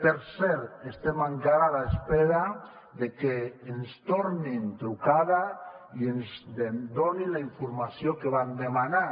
per cert estem encara a l’espera de que ens tornin trucada i ens donin la informació que vam demanar